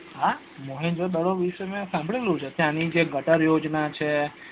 હા મોહેન્દ્ર્જો દડો વિશે મેં સાભળ્યું છે તેની જે ગટર યોજના છે